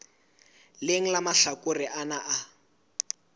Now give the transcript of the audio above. leng la mahlakore ana a